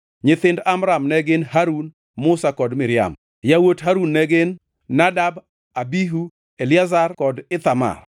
Nyithind Amram ne gin: Harun, Musa kod Miriam. Yawuot Harun ne gin: Nadab, Abihu, Eliazar kod Ithamar